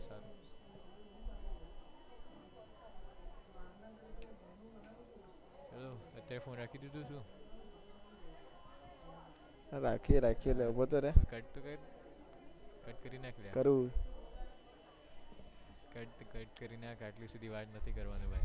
રાખ્યું રાખ્યું અલ્યા ઉભો તો રહે cut તો કર cut કરી નાખ અલ્યા આટલી સુધી વાત નથી કરવાની ભાઈ